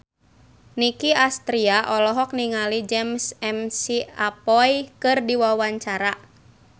Nicky Astria olohok ningali James McAvoy keur diwawancara